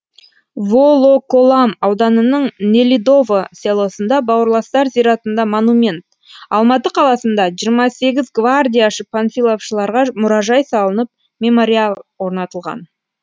волоколам ауданының нелидово селосында бауырластар зиратында монумент алматы қаласында жиырма сегіз гвардияшы панфиловшыларға мұражай салынып мемориал орнатылған